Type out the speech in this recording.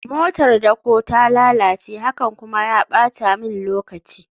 motar dako ta lalace, hakan kuma ya bata min lokaci